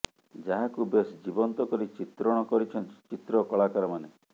ଯାହାକୁ ବେଶ ଜୀବନ୍ତ କରି ଚିତ୍ରଣ କରିଛନ୍ତି ଚିତ୍ର କଳାକାରମାନେ